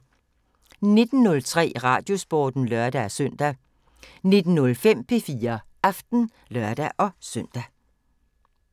19:03: Radiosporten (lør-søn) 19:05: P4 Aften (lør-søn)